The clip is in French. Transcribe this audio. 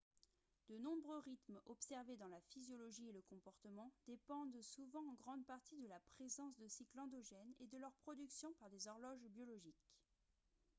de nombreux rythmes observés dans la physiologie et le comportement dépendent souvent en grande partie de la présence de cycles endogènes et de leur production par des horloges biologiques